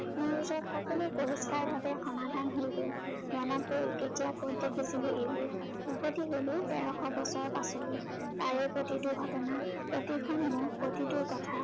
মোৰ ওচৰত সকলো পৰিস্কাৰ ভাৱে সমাধান হৈ গল। মনত পৰিল, কেতিয়া কত দেখিছিলো এইবোৰ। উভটি গলো তেৰশ বছৰৰ পাছলৈ, তাৰে প্ৰতিটো ঘটনা, প্ৰতিখন মুখ, প্ৰতিটো কথা